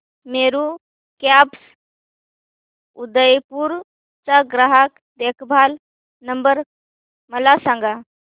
Meru cabs Udaipur चा ग्राहक देखभाल नंबर मला सांगा